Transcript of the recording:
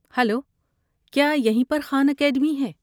Hello, کیا یہی پر خان اکیڈمی ہے؟